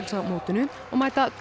á mótinu og mæta Dönum